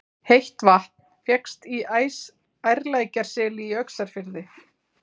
Heitt vatn fékkst í Ærlækjarseli í Öxarfirði.